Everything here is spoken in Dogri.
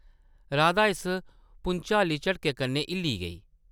राधा इस भुंचाली झटके कन्नै हिल्ली गेई ।